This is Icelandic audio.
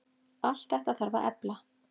Allt þetta þarf að efla.